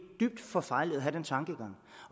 dybt forfejlet at have den tankgang